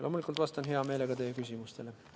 Loomulikult vastan hea meelega ka teie küsimustele.